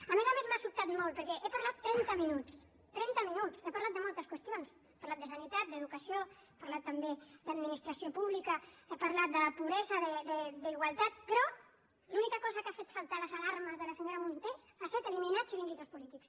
a més a més m’ha sobtat molt perquè he parlat trenta minuts trenta minuts he parlat de moltes qüestions he parlat de sanitat d’educació he parlat també d’administració pública he parlat de pobresa d’igualtat però l’única cosa que ha fet saltar les alarmes de la senyora munté ha set eliminar xiringuitos polítics